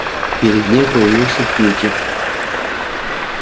перед ним появился кьюти